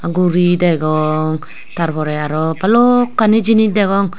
guri degong tar pore arw balokkani jinis degong.